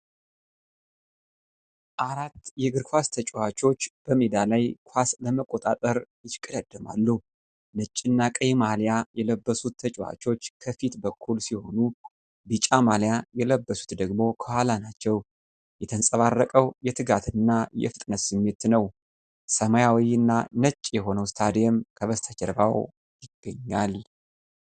አራት የእግር ኳስ ተጫዋቾች በሜዳ ላይ ኳስ ለመቆጣጠር ይሽቀዳደማሉ። ነጭ እና ቀይ ማሊያ የለበሱት ተጫዋቾች ከፊት በኩል ሲሆኑ፣ ቢጫ ማሊያ የለበሱት ደግሞ ከኋላ ናቸው። የተንጸባረቀው የትጋትና የፍጥነት ስሜት ነው። ሰማያዊና ነጭ የሆነው ስታዲየም ከበስተጀርባው ይገኛል።